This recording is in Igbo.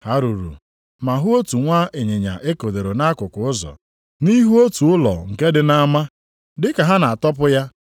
Ha ruru ma hụ otu nwa ịnyịnya e kedoro nʼakụkụ ụzọ, nʼihu otu ụlọ nke dị nʼama. Dị ka ha na-atọpụ ya,